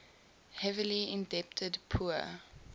heavily indebted poor